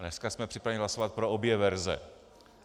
Dnes jsme připraveni hlasovat pro obě verze.